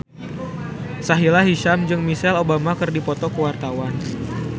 Sahila Hisyam jeung Michelle Obama keur dipoto ku wartawan